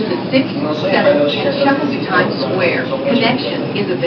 Shundan so‘ng haydovchi katta tezlikda ulardan uzoqlashib ketadi.